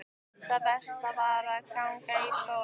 Það versta var að ganga í skólann.